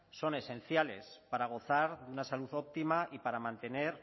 son esenciales para gozar de una salud óptima y para mantener